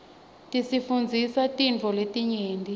tisifundzisa tintfo letinyenti